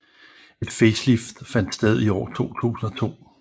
Et facelift fandt sted i år 2002